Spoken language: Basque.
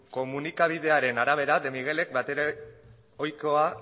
komunikabidearen arabera de miguelek batere ohikoa